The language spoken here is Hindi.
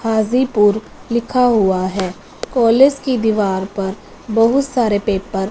हाजीपुर लिखा हुआ है कॉलेज की दीवार पर बहुत सारे पेपर --